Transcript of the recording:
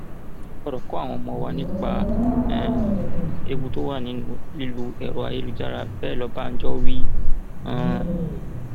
a gbọdọ kọ àwọn ọmọ wa nípa um ewu tó wà nínú lílo ẹrọ ayélujára bẹẹ lọbánájọ wí um